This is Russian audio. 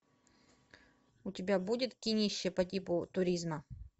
у тебя будет кинище по типу туризма